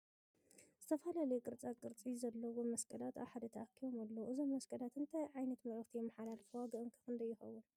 ዝተፈላለዪ ቅርፃ ቅርፅ ዘለዎም መስቀላት ኣብ ሓደ ተኣኪቦም ኣለዉ ። እዞም መስቀላት እንታይ ዕይነት መልእክቲ የምሓላልፉ ዋግኦም ክ ክንደይ ይከውን ?